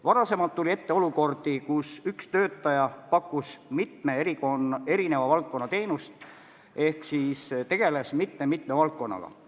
Varem tuli ette olukordi, kus üks töötaja pakkus mitme erineva valdkonna teenust ehk siis tegeles mitme-mitme valdkonnaga.